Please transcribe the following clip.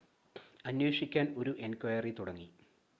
അന്വേഷിക്കാൻ ഒരു എൻക്വയറി തുടങ്ങി